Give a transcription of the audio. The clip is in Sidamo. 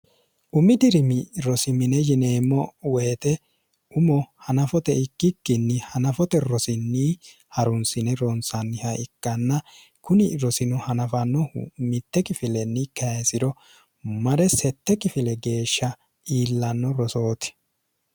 umi dirimi rosimine yineemmo woyite umo hanafote ikkikkinni hanafote rosinni harunsine ronsanniha ikkanna kuni rosino hanafannohu mitte kifilenni kesiro mare sette kifile geeshsha iillanno rosooti